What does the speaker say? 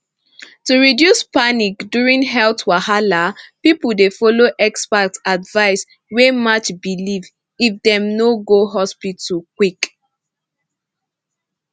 to reduce panic during health wahala people dey follow expert advice wey match belief even if dem no go hospital quick